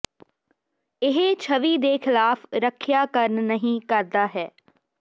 ਇਹ ਛਵੀ ਦੇ ਖਿਲਾਫ਼ ਰੱਖਿਆ ਕਰਨ ਨਹੀ ਕਰਦਾ ਹੈ